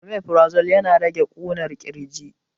Omifrazol yana rage ƙunar ƙirji